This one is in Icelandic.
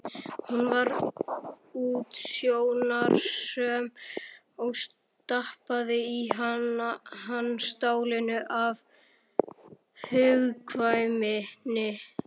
Hún var útsjónarsöm og stappaði í hann stálinu af hugkvæmni.